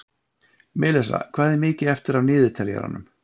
Melissa, hvað er mikið eftir af niðurteljaranum?